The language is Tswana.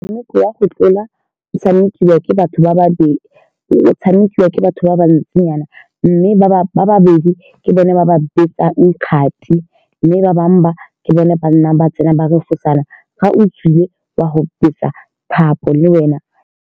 Motshameko wa go tlola o tshamekiwa ke batho ba babedi. O-o tshamekiwa ke batho ba ba ntsinyana, mme ba-ba babedi ke bone ba ba betsang kgati, mme ba bangwe ba ke bone ba nnang ba tsena ba refosana fa o tswile wa go betsa thapo le wena.